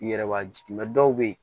I yɛrɛ b'a jigin dɔw bɛ ye